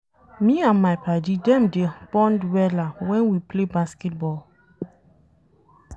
Me and my paddy dem dey bond wella wen we play basket ball.